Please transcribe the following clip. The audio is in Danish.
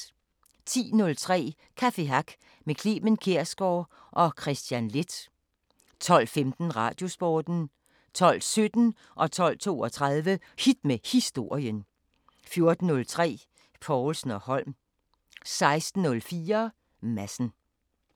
10:03: Café Hack med Clement Kjersgaard og Kristian Leth 12:15: Radiosporten 12:17: Hit med historien 12:32: Hit med historien 14:03: Povlsen & Holm 16:04: Madsen